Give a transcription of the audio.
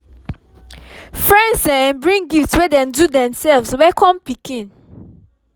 friends um bring gift wey dem do themselves welcome pikin